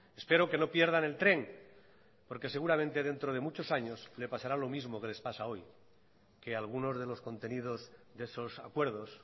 espero que no pierdan el tren porque seguramente dentro de muchos años les pasará lo mismo que les pasa hoy que algunos de los contenidos de esos acuerdos